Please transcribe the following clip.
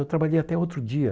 Eu trabalhei até outro dia.